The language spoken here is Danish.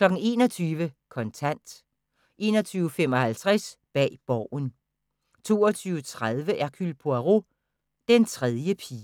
21:00: Kontant 21:55: Bag Borgen 22:30: Hercule Poirot: Den tredje pige